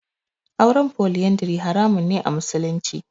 Auren Foliyandari haramun ne a musulunci.